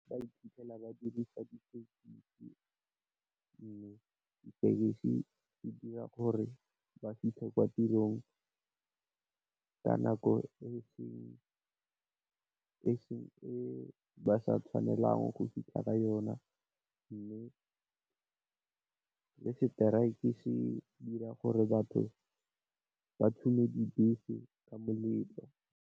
Ba iphitlhela ba dirisa di tekesi mme di tekesi di dira gore ba fitlhe kwa tirong, ka nako e ba sa tshwanelang go fitlha ka yona. Mme seteraeke se dira gore batho ba tshube dibese ka malelo.